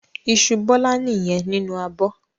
Iṣu Bọ́lá nìyẹn nínú abọ́.